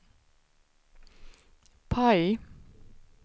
PIE